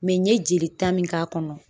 n ye jelita min k'a kɔnɔ